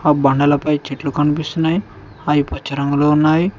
బండలపై చెట్లు కనిపిస్తున్నాయి అవి పచ్చ రంగులో ఉన్నావి.